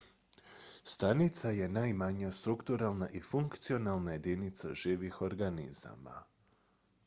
stanica je najmanja strukturalna i funkcionalna jedinica živih stvari organizama